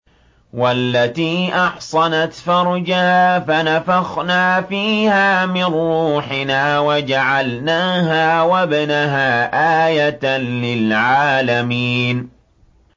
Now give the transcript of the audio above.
وَالَّتِي أَحْصَنَتْ فَرْجَهَا فَنَفَخْنَا فِيهَا مِن رُّوحِنَا وَجَعَلْنَاهَا وَابْنَهَا آيَةً لِّلْعَالَمِينَ